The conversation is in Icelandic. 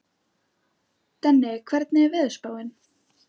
Denni, hvernig er veðurspáin?